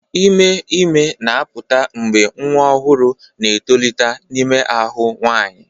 Ime ime na-apụta mgbe nwa ọhụrụ na-etolite n'ime ahụ nwanyị.